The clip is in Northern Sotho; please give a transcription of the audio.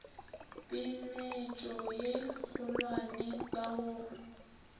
peeletšo ye kgolwane ka go